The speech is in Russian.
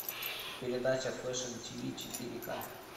передача фэшн тв четыре к